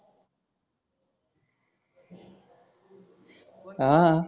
हा